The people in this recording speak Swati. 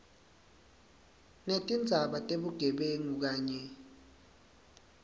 netindzaba tebugebengu kanye